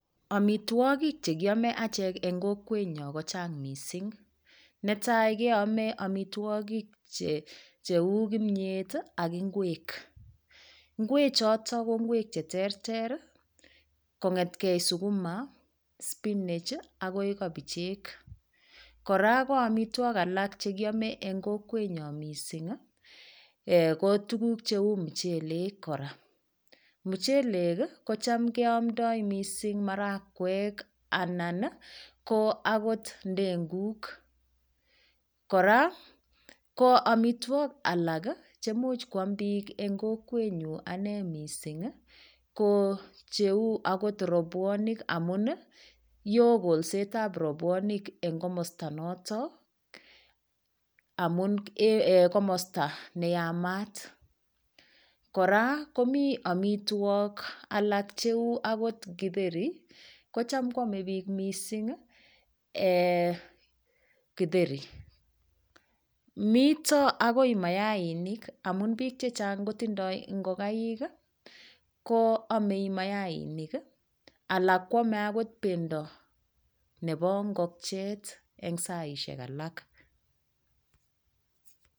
Omitwokik chekiome achek eng' kokwenyo kochang' mising netai keome omitwokik cheu kimyet ak ng'wek ng'wechoto ko ng'wek cheterter kong'etkei sukuma spinach akoi kobichek kora koomitwok alak chekiome eng' kokwenyo ko tukuk cheu michelek kora michelek kocham keomtai mising marakwek anan ko akot ndenguk kora ko omitwok alak chemuch koam biik eng' kokwenyu ane mising ko cheu akot rabuonik amun yo kolsetab rabwonik eng' komosta noto amun komosta neyamat kora komi omitwok alak cheu akot kitheri kocham koomei biik mising kitheri mito akoi mayainik amun biik chechang' kotindoi ngokaik koamei mayainik alak koomei akot bendo nebo ngokchet eng'saishek alak